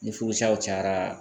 Ni furusaw cayara